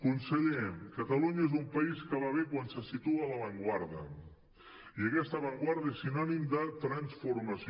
conseller catalunya és un país que va bé quan se situa a la avantguarda i aquesta avantguarda és sinònim de transformació